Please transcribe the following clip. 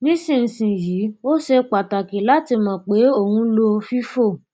nísinsìnyí ó ṣe pàtàkì láti mọ pé o ń lo fifo